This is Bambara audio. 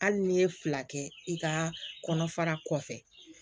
Hali n'i ye fila kɛ i ka kɔnɔfara kɔfɛ